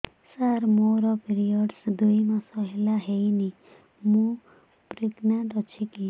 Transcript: ସାର ମୋର ପିରୀଅଡ଼ସ ଦୁଇ ମାସ ହେଲା ହେଇନି ମୁ ପ୍ରେଗନାଂଟ ଅଛି କି